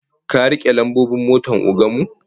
Ka rike lambobin motar ogan mu?